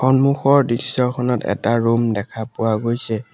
সন্মুখৰ দৃশ্যখনত এটা ৰূম দেখা পোৱা গৈছে।